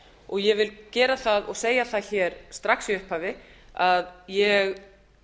og ég vil segja það strax í upphafi að ég